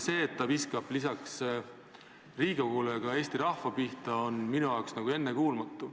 See, et ta viskab lisaks Riigikogule sitta ka Eesti rahva pihta, on minu arvates ennekuulmatu.